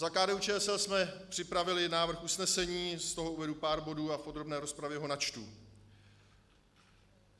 Za KDU-ČSL jsme připravili návrh usnesení, z toho uvedu pár bodů a v podrobné rozpravě ho načtu.